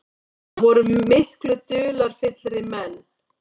Það voru miklu dularfyllri menn.